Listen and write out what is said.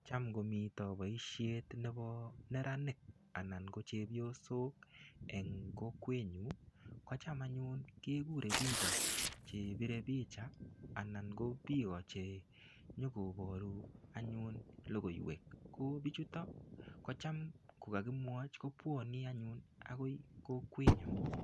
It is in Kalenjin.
Cham ngomito boisiet nebo neranik, anan ko chepyosok eng kokwet nyu, kocham anyun kekure biiko chepire picha, anan ko biiko che nyikoboru anyun logoiwek. Ko bichutok, kocham kokakimwochi kobwane anyun akoi kokwet nyuu.